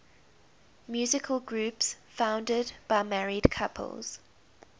musical groups founded by married couples